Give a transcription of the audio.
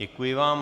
Děkuji vám.